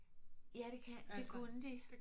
Ja det kan det kunne de